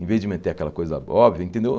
Em vez de meter aquela coisa óbvia, entendeu?